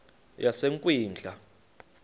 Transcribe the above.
yasekwindla